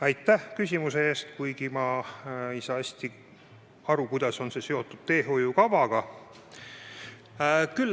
Aitäh küsimuse eest, kuigi ma ei saa hästi aru, kuidas on see seotud teehoiukavaga.